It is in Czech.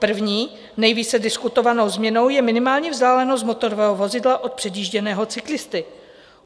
První, nejvíce diskutovanou změnou je minimální vzdálenost motorového vozidla od předjížděného cyklisty.